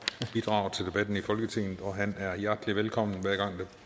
bidrager til debatten i folketinget og han er hjertelig velkommen hver gang der